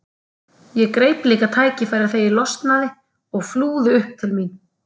Ég greip líka tækifærið þegar ég losnaði og flúði upp til mín.